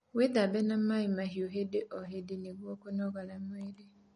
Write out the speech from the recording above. Withambe na maĩ mahiu hĩndĩ o hĩndĩ nĩguo kũnogora mwĩrĩ